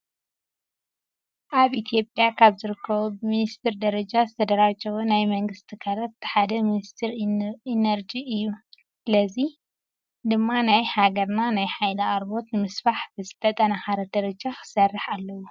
ኣብ ኢትዮጵያ ካብ ዝርከቡ ብሚኒስቴር ደረጃ ዝተደራጀው ናይ መንግስቲ ትካላት እቲ ሓደ ሚኒስቴር ኢነርጂ እዩ። ስለዝኾነ ድማ ናይ ሃገርና ናይ ሃይሊ ኣቅርቦት ንምስፋሕ ብዝተጠናኸነ ደረጃ ክሰርሕ ኣለዎ።